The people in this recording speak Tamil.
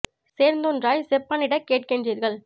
சேர்ந்தொன்றாய் செப்பனிடக் கேட்கின் றீர்கள்